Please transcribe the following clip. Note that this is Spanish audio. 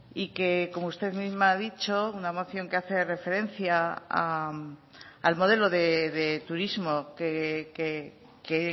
y que como usted misma ha dicho una moción que hace referencia al modelo de turismo que